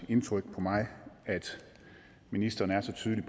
indtryk på mig at ministeren er så tydelig